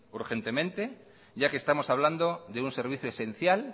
urgentemente ya que estamos hablando de un servicio esencial